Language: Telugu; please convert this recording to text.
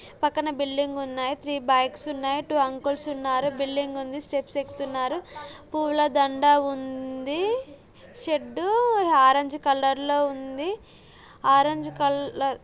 పక్కన ఉంది ఉన్నయి ఉన్నారు ఉన్నది మెట్లు ఎక్కుతున్నారు పూల దండ ఉం--ది షెడ్ లో ఉంది ----